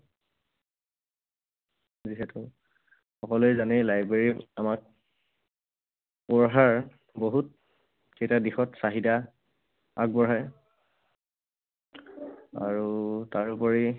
যিহেতু সকলোৱে জানেই, library আমাক পঢ়াৰ বহুত কেইটা দিশত চাহিদা আগবঢ়ায়। আৰু তাৰোপৰি